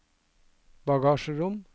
bagasjerom